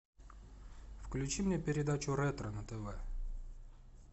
включи мне передачу ретро на тв